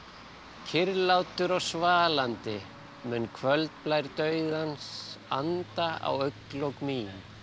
kyrrlátur og svalandi mun kvöldblær dauðans anda á augnlok mín